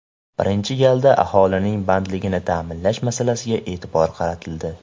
Birinchi galda aholining bandligini ta’minlash masalasiga e’tibor qaratildi.